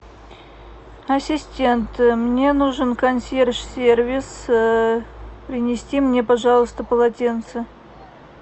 ассистент мне нужен консьерж сервис принести мне пожалуйста полотенце